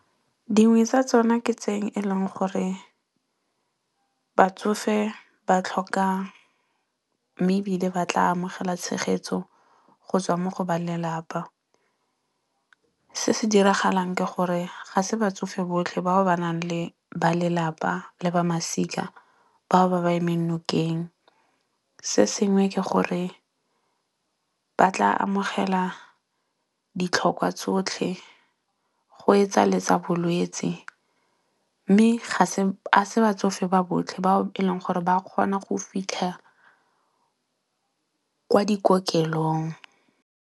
Dingwe tsa tsona ke tse e leng gore batsofe ba tlhoka, mme ebile ba tla amogela tshegetso go tswa mo go ba lelapa. Se se diragalang ke gore ga se batsofe botlhe bao ba nang le ba lelapa le ba masika bao ba ba emeng nokeng. Se sengwe ke gore ba tla amogela ditlhokwa tsotlhe go etsa le tsa bolwetsi. Mme ga se batsofe ba botlhe bao e leng gore ba kgona go fitlha kwa dikokelong.